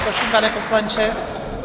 Prosím, pane poslanče.